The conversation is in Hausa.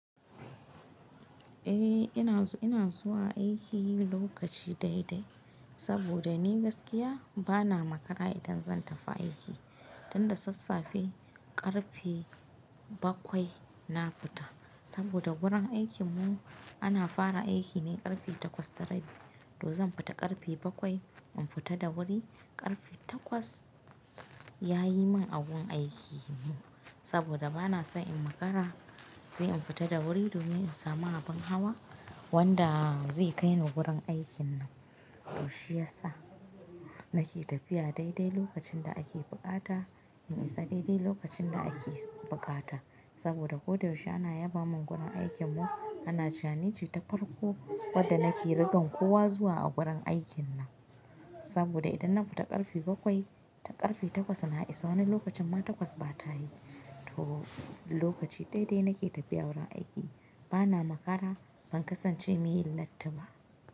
Eh ina zuwa aiki lokaci dai dai saboda ni gaskiya bana makara idan zan tafi aiki. Dan da sassafe karfe bakwai na fita saboda wurin aikin mu ana fara aiki ne karfe takwas tara. To zan fita karfe bakwai in fita da wuri karfe takwas yayi min abun aikin mu saboda bana son in makara sai in fita da wuri domin in samu abin hawa wanda zai kai ni gurin aikin nan. To shiyasa nake tafiya dai dai lokacin da ake bukata, in isa dai dai lokacin da ake bukata saboda ko da yaushe ana yaba mun gurin aikin mu ana cewa nice ta farko wanda nake rigan kowa zuwa a gurin aikin nan. Saboda idan na fita karfe bakwai ta karfe takwas na isa wani lokacin ma takwas bata yi. To lokaci dai dai nake tafiya wurin aiki bana makara ban kasance mai latti ba.